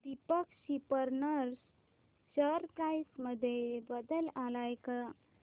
Deepak spinners share price मध्ये बदल आलाय का